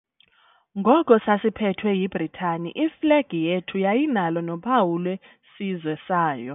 Ngoko sasiphethwe yiBritani iflegi yethu yayinalo nophawu lwesizwe sayo.